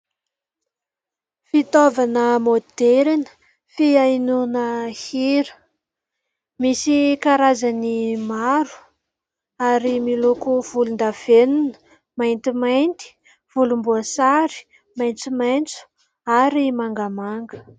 Fitaovana maoderina fihainoana hira misy karazany maro ary miloko volon-davenina, maintimainty, volom-boasary maitsomaitso ary mangamanga.